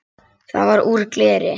Það var úr gleri.